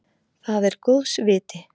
Það er góðs viti.